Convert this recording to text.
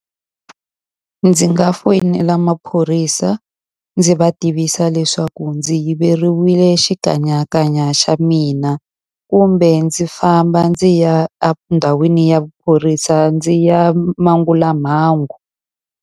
Ndzi nga foyinela maphorisa ndzi va tivisa leswaku ndzi yiveriwile xikanyakanya xa mina, kumbe ndzi famba ndzi ya endhawini ya maphorisa ndzi ya mangula mhangu.